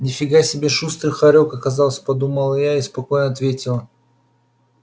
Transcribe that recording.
нифига себе шустрый хорёк оказался подумала я и спокойно ответила